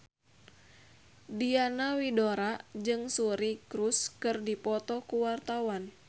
Diana Widoera jeung Suri Cruise keur dipoto ku wartawan